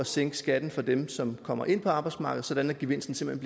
sænker skatten for dem som kommer ind på arbejdsmarkedet sådan at gevinsten simpelt